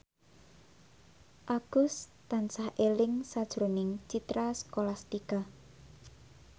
Agus tansah eling sakjroning Citra Scholastika